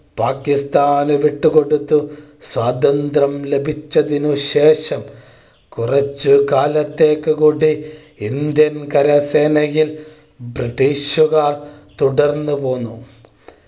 പാകിസ്ഥാന് വിട്ട് കൊടുത്തു സ്വാതന്ത്ര്യം ലഭിച്ചതിനു ശേഷം കുറച്ചു കാലത്തേക്ക് കൂടി ഇന്ത്യൻ കരസേനയിൽ british കാർ തുടർന്നു പോന്നു